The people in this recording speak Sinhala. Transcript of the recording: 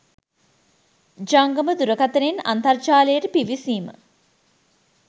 ජංගම දුරකථනයෙන් අන්තර්ජාලයට පිවිසීම